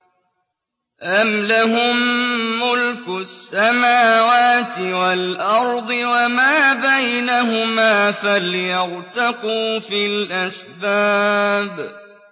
أَمْ لَهُم مُّلْكُ السَّمَاوَاتِ وَالْأَرْضِ وَمَا بَيْنَهُمَا ۖ فَلْيَرْتَقُوا فِي الْأَسْبَابِ